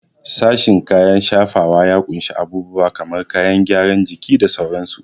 Sashen kayan shafawa ya ƙunshi abubuwa kamar kayan gyaran jiki da sauransu.